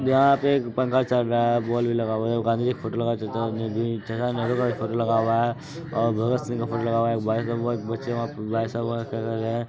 यहाँ पे एक पंखा चल रहा हैबॉल भी लगा हुआ है गांधीजी फोटो लगा है चाचा नेहरू का फोटो भी लगा हुआ है और भगत सिंह का भी फोटो लगा हुआ है ]